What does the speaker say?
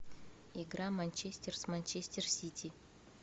игра манчестер с манчестер сити